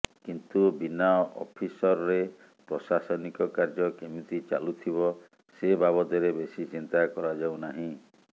କିନ୍ତୁ ବିନା ଅଫିସରରେ ପ୍ରଶାସନିକ କାର୍ଯ୍ୟ କେମିତି ଚାଲୁଥିବ ସେ ବାବଦରେ ବେଶି ଚିନ୍ତା କରାଯାଉନାହିଁ